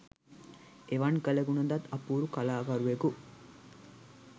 එවන් කළගුණ දත් අපුරු කලාකරුවකු